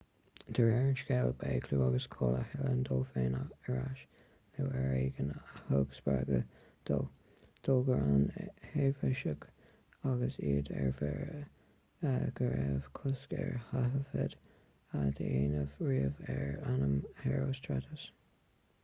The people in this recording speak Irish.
de réir an scéil ba é clú agus cáil a thuilleamh dó féin ar ais nó ar éigean a thug spreagadh dó d'fhógair na heifeasaigh agus iad ar mire go raibh cosc ar thaifead a dhéanamh riamh ar ainm herostratus